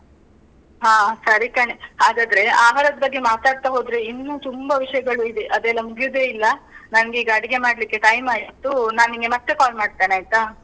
ಹಾ ಸರಿ ಕಣೇ, ಹಾಗಾದ್ರೆ ಆಹಾರದ್ ಬಗ್ಗೆ ಮಾತಾಡ್ತಾ ಹೋದ್ರೆ ಇನ್ನೂ ತುಂಬ ವಿಷಯಗಳು ಇದೆ. ಅದೆಲ್ಲ ಮುಗ್ಯುದೇ ಇಲ್ಲ. ನನ್ಗೆ ಈಗ ಅಡ್ಗೆ ಮಾಡ್ಲಿಕ್ಕೆ time ಆಯ್ತು. ನಾನ್ ನಿನ್ಗೆ ಮತ್ತೆ call ಮಾಡ್ತೇನೆ ಆಯ್ತಾ?